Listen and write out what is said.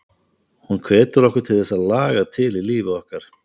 Hún hvetur okkur til að þess að laga til í lífi okkar.